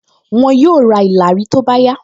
Wọn yóò ra ìlàrí tó bá yá